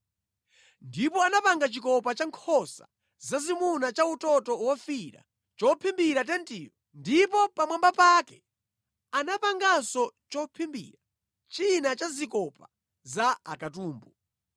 Ndipo anapanga chikopa cha nkhosa zazimuna cha utoto wofiira chophimbira tentiyo ndipo pamwamba pake anapanganso chophimbira china cha zikopa za akatumbu.